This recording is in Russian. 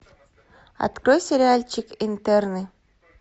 открой сериальчик интерны